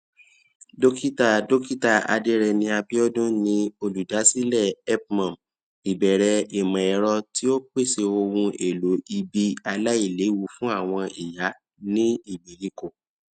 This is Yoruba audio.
dókítà dókítà adereni abiodun ni olùdásílẹ helpmum ìbẹrẹ ìmọẹrọ tí ó pèsè ohun èlò ìbí aláìléwu fún àwọn ìyá ní ìgbèríko